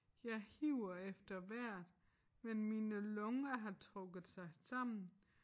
Jeg hiver efter vejret men mine lunger har trukket sig sammen